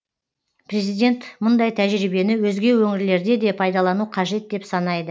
президент мұндай тәжірибені өзге өңірлерде де пайдалану қажет деп санайды